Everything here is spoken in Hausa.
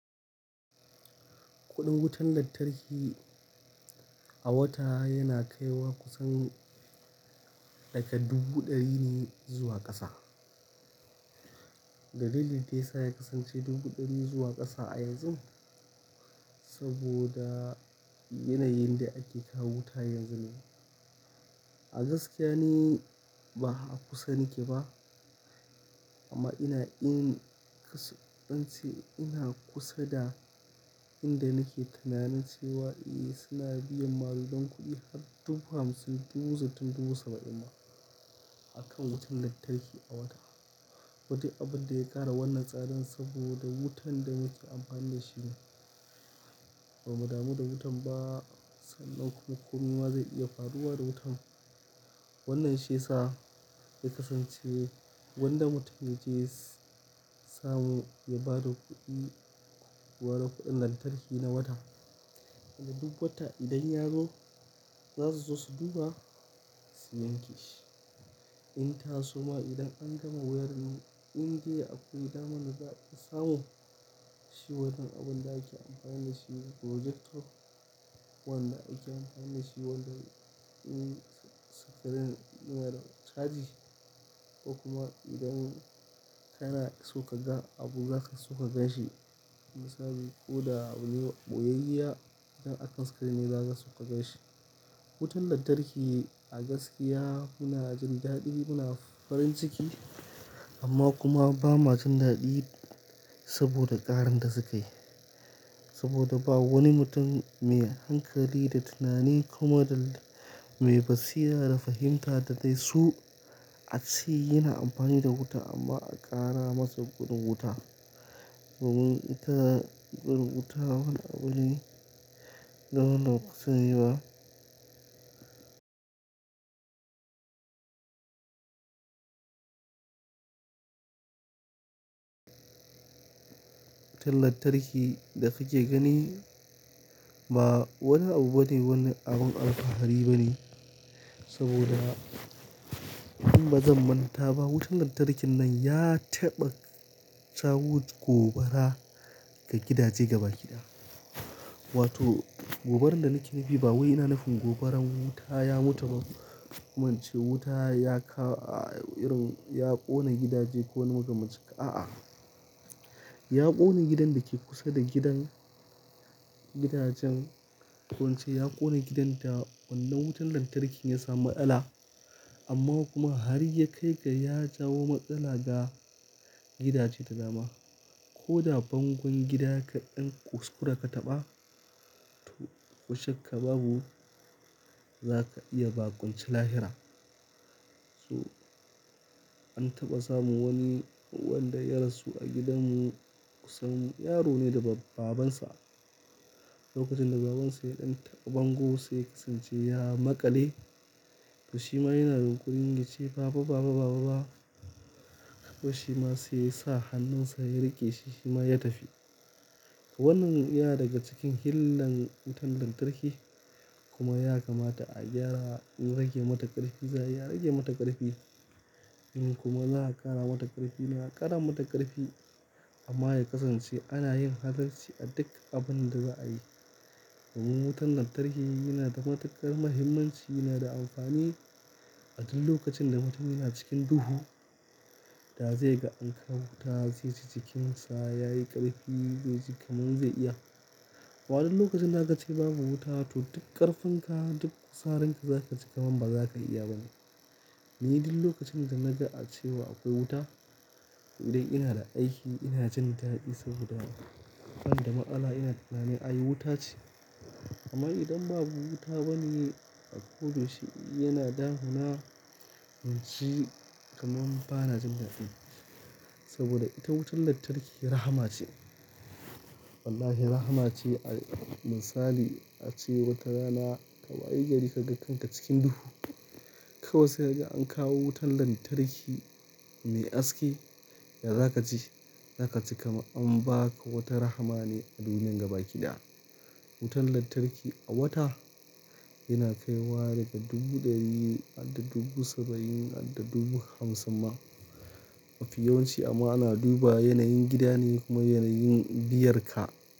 Kuɗin wutan lantarki a wata yana kaiwa kusan daga dubu ɗari ne zuwa ƙasa. Dalilin da ya sa ya kasance dubu ɗari zuwa ƙasa a yanzun saboda yanayin da ake kawo wuta yanzu ne. A gaskiya ni ba a kusa nike ba amma ina in kasance ina kusa da inda nake tunanin cewa a suna biyan maƙudan kuɗi har dubu hamsin, dubu sittin, dubu saba'in ma akan wutan lantarki a wata. Kuma duk abun da ya ƙara wannan tsarin saboda wutan da muke amfani da shi ne. Bamu damu da wutan ba sannan kuma komai ma zai iya faruwa da wutan. Wannan shi ya sa ya kasance gwanda mutum ya je samu ya bada kuɗi, ya bada kuɗin lantarki na wata. Idan duk wata idan ya zo za su zo su duba su yanke shi. In ta soma idan an gama wayarin in da akwai daman da za a iya samu shi wanan abun da ake amfani da shi projector wanda ake amfani da shi wajen yin screen yana da chaji. Ko kuma idan kana so ka ga abu zaka so ka gan shi misali ko da ɓoyayyiya idan akan screen ne zaka so ka gan shi. Wutan lantarki a gaskiya muna jin daɗi muna farin ciki amma kuma ba ma jin daɗi saboda ƙarin da sukayi. Saboda ba wani mutum mai hankali da tunani kuma da mai basira da fahimta da dai su ace yana amfani da wuta amma a ƙara masa kuɗin wuta. Domin ita kuɗin wuta wani abune da wannan kusa yi ba. Wutan lantarki da kake gani ba wani abu bane wani abun alfahari bane saboda in bazan manta ba wutan lantarkin nan ya taɓa kawo gobara ga gidaje gaba kiɗa. Wato gobaran da nake nufi ba wai ina nufin gobaran wuta ya mutu ba ko kuma in ce wuta ya kawo irin ya ƙone gidaje ko wani makamanci haka a'a. Ya ƙone gidan da ke kusa da gidan gidajen ko ince ya ƙone gidan da wannan wutan lantarkin ya samu matsala amma kuma har ya kai ga ya jawo matsala ga gidaje da dama. Ko da bangon gida kaɗan kuskure ka taɓa to ko shak ka babu zaka iya ba kwanci lahira. So an taɓa samun wani wanda ya rasu a gidan mu kusan yaro ne da babansa. Lokacin da babansa yaɗan taɓa bango sai kasance ya maƙale to shima yana yinƙurin yace baba baba baba ba. To shima sai sa hannunsa ya riƙe shi shima ya tafi. Wannan ya daga cikin hillan wutan lantarki kuma ya kamata a gyara, in rage mata ƙarfi za ayi a rage mata ƙarfi. In kuma za a ƙara mata ƙarfi za a ƙara mata ƙarfi amma ya kasance ana yin halarci a duk abun da za a yi. Domin wutan lantarki yana da matuƙar muhimmanci yana da amfani a duk lokacin da mutum yana cikin duhu da zai ga an kawo wuta zai ji jikinsa yayi ƙarfi zai ji kamar zai iya. A wanan lokacin da a ka ce babu wuta to duk ƙarfinka duk kuzarinka zaka ji ka man bazaka iya ba ne. Ni duk lokacin da naga a cewa akwai wuta idan ina da aiki ina jin daɗi saboda bani da matsala ina tunanin ai wuta ce. Amma idan babu wuta bane a koda yaushe yana damuna in ji kamar bana jin daɗi. Saboda ita wutan lantarki rahama ce. Wallahi rahama ce misali ace wata rana ka wayi gari ka ga kanka cikin duhu. Kawai sai ka ga an kawo wutan lantarki mai haske ya zaka ji zaka ji kaman an baka wata rahama ne a duniyar gaba kiɗaya. Wutan lantarki a wata yana kaiwa daga dubu ɗari har da dubu saba'in har da dubu hamsin ma mafi yawanci amma ana duba yanayin gidane kuma yanayin biyar ka.